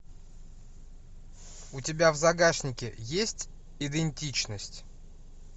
у тебя в загашнике есть идентичность